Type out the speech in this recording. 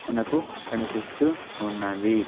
మనకు కనిపిస్తూ ఉన్నది.